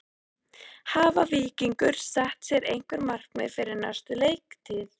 Hafa Víkingar sett sér einhver markmið fyrir næstu leiktíð?